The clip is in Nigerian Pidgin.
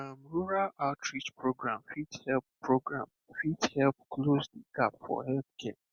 um rural outreach program fit help program fit help close the gap for healthcare